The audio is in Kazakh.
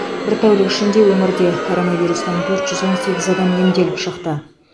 бір тәулік ішінде өңірде коронавирустан төрт жүз он сегіз адам емделіп шықты